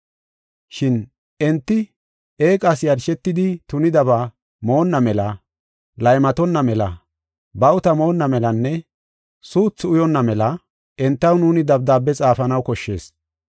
Shin enti eeqas yarshetidi tunidaba moonna mela, laymatonna mela, bawuta moonna melanne suuthi uyonna mela entaw nuuni dabdaabe xaafanaw koshshees.